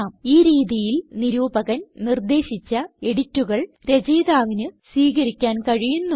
ഈ രീതിയിൽ നിരൂപകൻ നിർദേശിച്ച എഡിറ്റുകൾ രചയിതാവിന് സ്വീകരിക്കാൻ കഴിയുന്നു